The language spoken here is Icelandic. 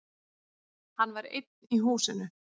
Hann var einn í húsinu.